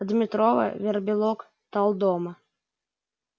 дмитрова вербилок талдома